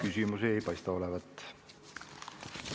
Teile ei paista küsimusi olevat.